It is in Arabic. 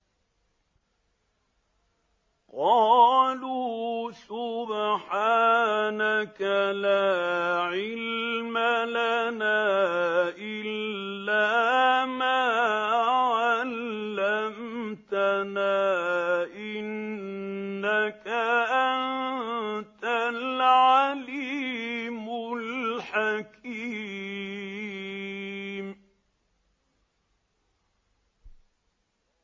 قَالُوا سُبْحَانَكَ لَا عِلْمَ لَنَا إِلَّا مَا عَلَّمْتَنَا ۖ إِنَّكَ أَنتَ الْعَلِيمُ الْحَكِيمُ